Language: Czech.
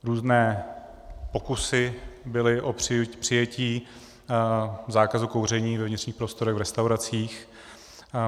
Různé pokusy byly o přijetí zákazu kouření ve vnitřních prostorech v restauracích.